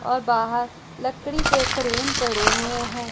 और बाहर लकड़ी के फ्रेम पड़े हुए हैं।